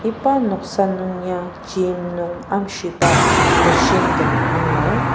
iba noksa nung ya gym nung amshiba machine tem angur.